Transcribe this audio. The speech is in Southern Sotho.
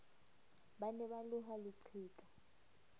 ba ne ba loha leqheka